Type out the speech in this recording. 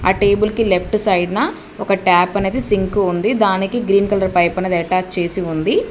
ఆ టేబుల్ కి లెఫ్ట్ సైడ్న ఒక ట్యాప్ అనేది సింక్ ఉంది దానికి గ్రీన్ కలర్ పైప్ అనేది అటాచ్ చేసి ఉంది.